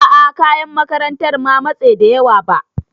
A'a kayan makarantan ma matse da yawa ba.